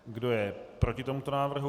Kdo je proti tomuto návrhu?